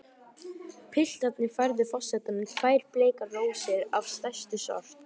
Piltarnir færðu forsetanum tvær bleikar rósir af stærstu sort.